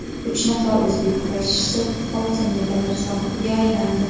Uch nafar o‘zbek kurashchisi oltin medallar sohibiga aylandi.